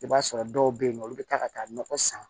I b'a sɔrɔ dɔw bɛ yen nɔ olu bɛ taa ka taa nɔgɔ san